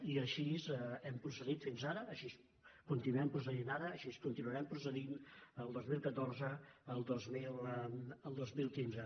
i així hem procedit fins ara així continuem procedint ara així continuarem procedint el dos mil catorze el dos mil quinze